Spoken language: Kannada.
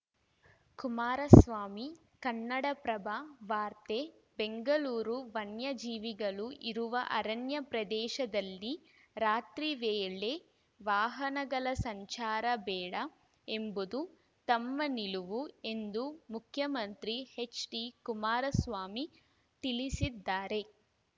ಕುಮಾರಸ್ವಾಮಿ ಕನ್ನಡಪ್ರಭ ವಾರ್ತೆ ಬೆಂಗಳೂರು ವನ್ಯಜೀವಿಗಳು ಇರುವ ಅರಣ್ಯ ಪ್ರದೇಶದಲ್ಲಿ ರಾತ್ರಿ ವೇಳೆ ವಾಹನಗಳ ಸಂಚಾರ ಬೇಡ ಎಂಬುದು ತಮ್ಮ ನಿಲುವು ಎಂದು ಮುಖ್ಯಮಂತ್ರಿ ಎಚ್‌ಡಿಕುಮಾರಸ್ವಾಮಿ ತಿಳಿಸಿದ್ದಾರೆ